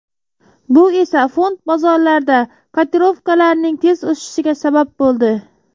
Bu esa fond bozorlarida kotirovkalarning tez o‘sishiga sabab bo‘ldi .